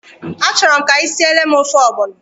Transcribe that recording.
A chọrọ m ka ị siele m ofe ọgbọnọ.